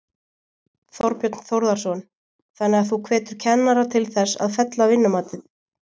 Þorbjörn Þórðarson: Þannig að þú hvetur kennara til þess að fella vinnumatið?